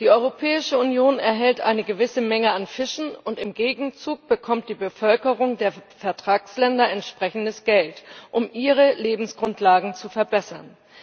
Die Europäische Union erhält eine gewisse Menge an Fischen, und im Gegenzug bekommt die Bevölkerung der Vertragsländer entsprechendes Geld, um ihre Lebensgrundlagen zu verbessern.